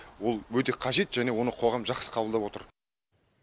ол өте қажет және оны қоғам жақсы қабылдап отыр